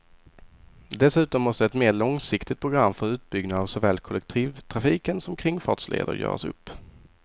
Dessutom måste ett mer långsiktigt program för utbyggnad av såväl kollektivtrafiken som kringfartsleder göras upp.